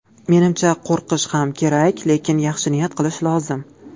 Menimcha, qo‘rqish ham kerak, lekin yaxshi niyat qilish lozim.